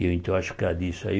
Eu então acho que era disso aí.